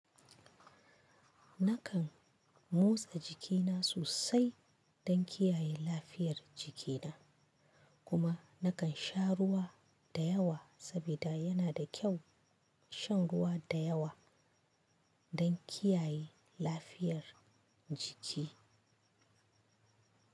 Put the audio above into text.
Nakan motsa jikina sosai don kiyaye lafiyar jikina kuma nakan sha ruwa da yawa saboda yana da kyau shan ruwa da yawa don kiyaye lafiyar jiki.